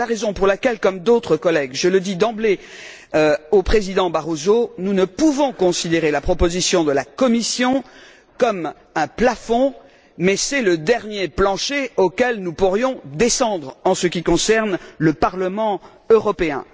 C'est la raison pour laquelle, comme d'autres collègues je le dis d'emblée au Président Barroso nous ne pouvons considérer la position de la Commission comme un plafond, mais c'est le dernier plancher auquel nous pourrions descendre en ce qui concerne le Parlement européen.